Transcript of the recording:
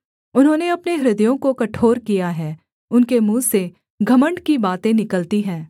उन्होंने अपने हृदयों को कठोर किया है उनके मुँह से घमण्ड की बातें निकलती हैं